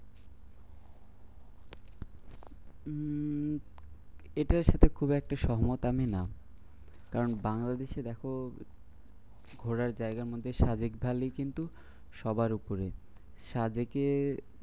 উম এটার সাথে খুব একটা সম্মত আমি না। কারণ বাংলাদেশে দেখো ঘোরার জায়গার মধ্যে সাজেক ভ্যালি কিন্তু সবার উপরে। সাজেকে